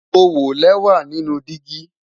Mo wọ lẹwa nínú dígì